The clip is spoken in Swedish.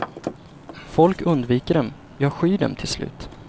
Folk undviker dem, ja skyr dem till slut.